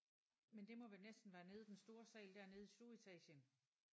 Men det må vel næsten være nede i den store sal dernede i stueetagen